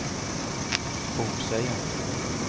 Bolsøya